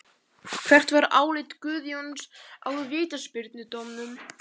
Hvert var álit Guðjóns á vítaspyrnudómnum?